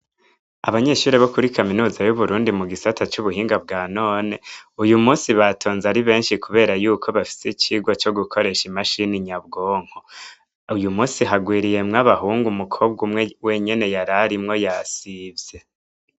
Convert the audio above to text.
Abanyeshure bo kuri kaminuza y'Uburundi mugisata c'ubuhinga bwa none uyumusi batonze ari benshi kubera bafise icigwa Co gukoresha imashini nyabwonko, uyumusi hagwiriyemwo abahungu umukobwa umwe yararimwo yasivye.